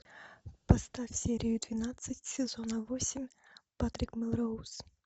поставь серию двенадцать сезона восемь патрик мелроуз